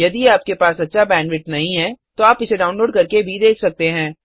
यदि आपके पास अच्छा बैंडविड्थ नहीं है तो आप इसे डाउनलोड करके देख सकते हैं